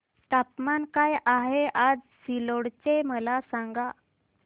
तापमान काय आहे आज सिल्लोड चे मला सांगा